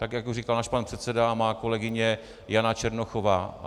Tak jak to říkal náš pan předseda a má kolegyně Jana Černochová.